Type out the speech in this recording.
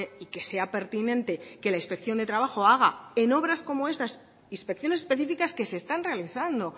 y que sea pertinente que la inspección de trabajo haga en obras como estas inspecciones específicas que se están realizando